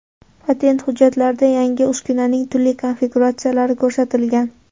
Patent hujjatlarida yangi uskunaning turli konfiguratsiyalari ko‘rsatilgan.